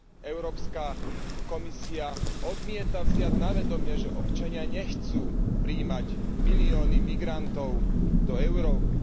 Európska komisia odmieta vziať na vedomie, že občania nechcú prijímať milióny migrantov do Európy.